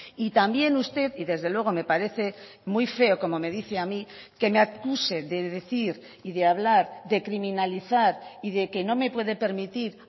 y también usted y desde luego me parece muy feo como me dice a mí que me acuse de decir y de hablar de criminalizar y de que no me puede permitir